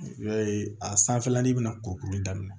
I b'a ye a sanfɛlanin bɛna kurukuru daminɛ